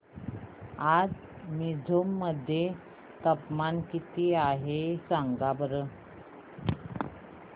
आज मिझोरम मध्ये तापमान किती आहे सांगा बरं